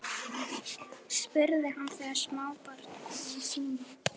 spurði hann þegar smábarn kom í símann.